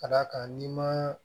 Ka d'a kan n'i ma